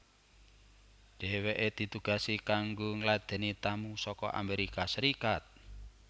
Dheweke ditugasi kanggo ngladeni tamu saka Amerika Serikat